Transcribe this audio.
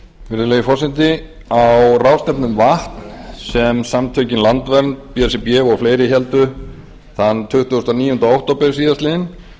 virðulegi forseti á ráðstefnu um vatn sem samtökin landvernd b s r b og fleiri héldu þann tuttugasta og níunda október síðastliðinn